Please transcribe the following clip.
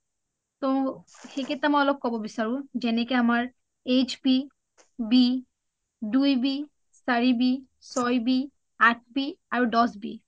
তও সিকেইটা মই অলপ ক’ব বিচাৰো যেনেকে আমাৰ hp, b, দুই b, চাৰি b, চয় b, আঠ b আৰু দহ b